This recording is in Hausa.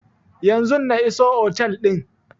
Yanzun na iso otel din